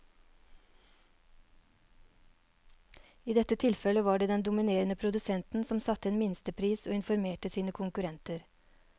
I dette tilfellet var det den dominerende produsenten som satte en minstepris og informerte sine konkurrenter.